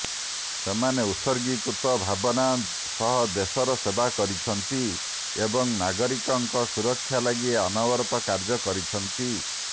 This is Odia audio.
ସେମାନେ ଉତ୍ସର୍ଗୀକୃତ ଭାବନା ସହ ଦେଶର ସେବା କରିଛନ୍ତି ଏବଂ ନାଗରିକଙ୍କ ସୁରକ୍ଷା ଲାଗି ଅନବରତ କାର୍ଯ୍ୟ କରିଛନ୍ତି